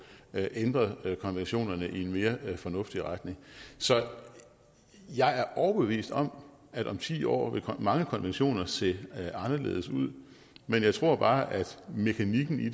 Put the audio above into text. ændret konventionen i en mere fornuftig retning så jeg er overbevist om at om ti år vil mange konventioner se anderledes ud men jeg tror bare at mekanikken i